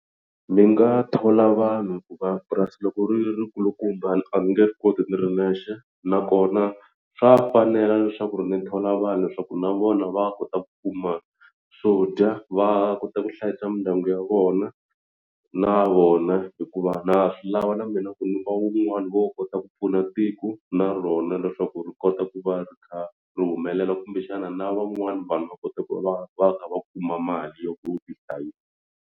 Ndzi nga thola vanhu hikuva purasi loko ri ri kulukumba a ni nge swi koti ni ri nexe nakona swa fanela leswaku ri ni thola vanhu leswaku na vona va kota ku kuma swo dya va kota ku hlayisa mindyangu ya vona na vona hikuva na swi lava na mina ku ni va un'wana wo kota ku pfuna tiko na rona leswaku ri kota ku va ri kha ri humelela kumbexana na van'wana vanhu va kota ku va va kha va kuma mali yo tihlayisa.